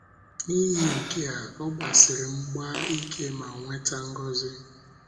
N’ihi nke a, ọ gbasiri mgba ike ma nweta ngọzi.